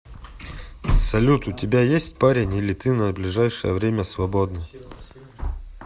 салют у тебя есть парень или ты на ближайшее время свободна